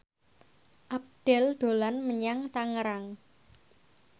Abdel dolan menyang Tangerang